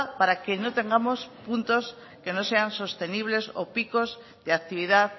para que no tengamos puntos que no sean sostenibles o picos de actividad